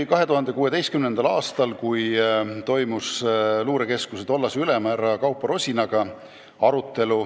2016. aastal toimus komisjonil arutelu luurekeskuse tollase ülema Kaupo Rosinaga.